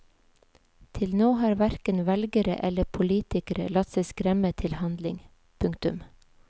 Til nå har hverken velgere eller politikere latt seg skremme til handling. punktum